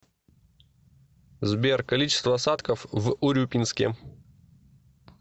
сбер количество осадков в урюпинске